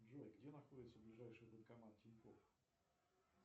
джой где находится ближайший банкомат тинькофф